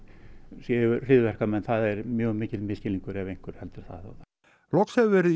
séu hryðjuverkamenn það er mjög mikill misskilningur ef einhver heldur það loks hefur verið